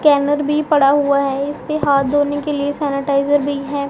Scanner भी पड़ा हुआ है इसके हाथ धोने के लिए सैनिटाइजर भी है।